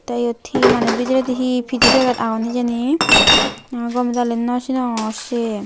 tey iyot hi maneh bidredi hihi pidey paget agon hijeni gomey dali nw sinongor siyen.